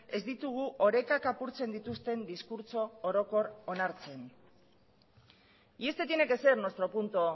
ez ditugu orekak apurtzen dituzten diskurtso orokor onartzen y este tiene que ser nuestro punto